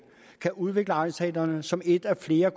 kan udvikle egnsteatrene som et af flere